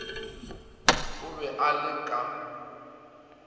o be a le ka